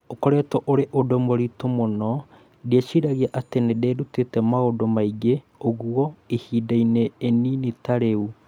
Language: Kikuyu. ũkoretwo ũrĩ ũndũ mũritũ mũno, ndiciragia atĩ nĩ ndĩĩrutĩte maũndũ maingĩ ũguo ihinda-inĩ inini ta rĩu